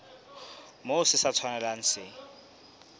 moo se sa tshwanelang se